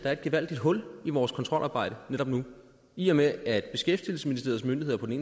er et gevaldigt hul i vores kontrolarbejde netop nu i og med at beskæftigelsesministeriets myndigheder på den